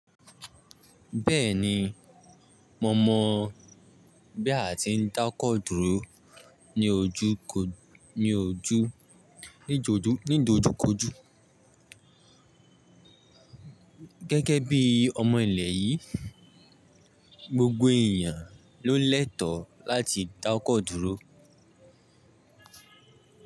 Bẹ́ẹ̀ni, mo mọ̀ bí a ti ń dá ọkọ̀ dúró ní ojú ko, ní ojú, ní joju ni ìdojúkọjú. Gẹ́gẹ́ bí ọmọ ilẹ̀ yìí, gbogbo èèyàn ló lẹ́tọ̀ọ́ láti dá ọkọ̀ dúró.